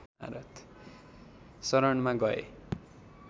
शरणमा गए